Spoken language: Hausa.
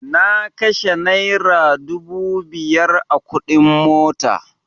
Na kashe naira dubu biyar a kuɗin mota